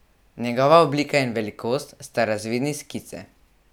Njegova oblika in velikost sta razvidni s skice.